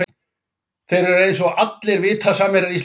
Þeir eru eins og allir vita samherjar í íslenska landsliðinu.